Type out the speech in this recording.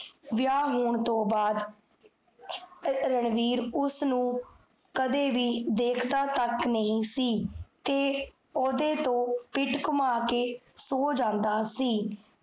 ਵਿਆਹ ਹੋਣ ਤੋ ਬਾਅਦ , ਰਣਵੀਰ ਉਸਨੁ, ਕਦੇ ਵੀ, ਦੇਖਦਾ ਤਕ ਨਹੀ ਸੀ ਤੇ, ਓਦੇ ਤੋਂ, ਪਿਠ ਘੁਮਾ ਕੇ ਸੋ ਜਾਂਦਾ ਸੀ